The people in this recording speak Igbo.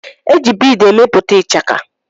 Eji biidi emepụta ichaka.